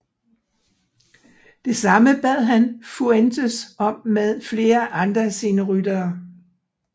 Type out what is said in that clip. Det samme bad han Fuentes om med flere andre af sine ryttere